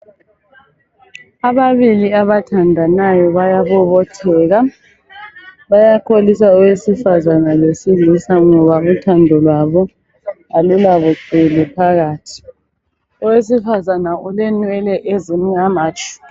Ababili abathandanayo bayabobotheka. Bayakholisa owesifazana lowesilisa ngoba uthando lwabo alulabuqili phakathi. Owesifazana ulenwele ezimnyama tshu.